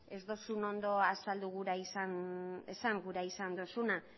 ez duzun ondo azaldu gura izan esan gura izan duzuna